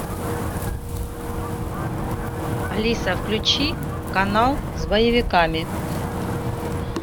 алиса включи канал с боевиками